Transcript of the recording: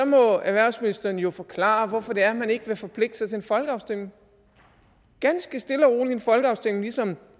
må erhvervsministeren jo forklare hvorfor det er man ikke vil forpligte sig til en folkeafstemning ganske stille og roligt en folkeafstemning ligesom